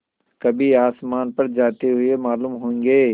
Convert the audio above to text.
कभी आसमान पर जाते हुए मालूम होंगे